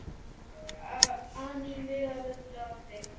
an í mig af öllu afli.